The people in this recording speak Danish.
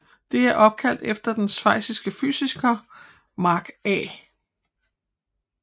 Det er opkaldt efter den schweiziske fysiker Marc A